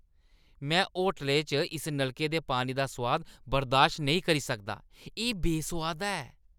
में होटलै च इस नलके दे पानी दा सोआद बर्दाश्त नेईं करी सकदा, एह् बेसोआदा ऐ।